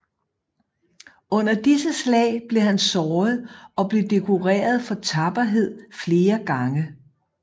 Under disse slag blev han såret og blev dekoreret for tapperhed flere gange